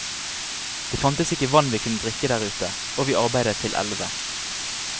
Det fantes ikke vann vi kunne drikke der ute, og vi arbeidet til elleve.